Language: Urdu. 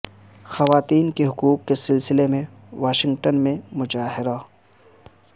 خواتین کے حقوق کے سلسلے میں واشنگٹن میں مظاہرہ